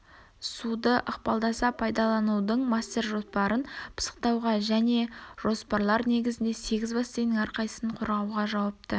суды ықпалдаса пайдаланудың мастер-жоспарын пысықтауға және жоспарлар негізінде сегіз бассейіннің әрқайсысын қорғауға жауапты